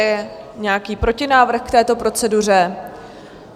Je nějaký protinávrh k této proceduře?